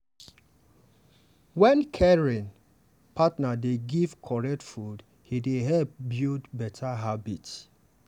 wen caring partner dey give correct food e dey help build better habit.